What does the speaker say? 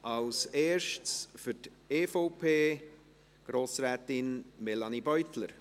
Als Erstes für die EVP Grossrätin Melanie Beutler.